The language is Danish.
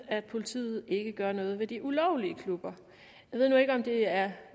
at politiet ikke gør noget ved de ulovlige klubber jeg ved nu ikke om det er